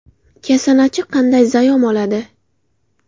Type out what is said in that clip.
Kasanachi qanday zayom oladi?.